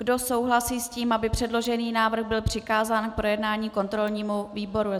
Kdo souhlasí s tím, aby předložený návrh byl přikázán k projednání kontrolnímu výboru?